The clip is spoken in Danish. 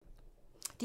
DR2